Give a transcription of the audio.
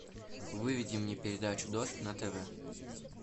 выведи мне передачу дождь на тв